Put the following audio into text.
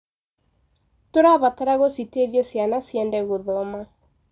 Tũrabatara gũciteithia ciana ciende gũthoma.